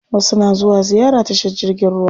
Wasu na zuwa ziyara tashar jirgin ruwa.